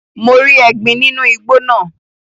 Mo rí ẹgbin nínú igbó náà.